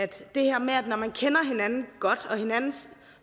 det her med at når man kender hinanden godt og hinandens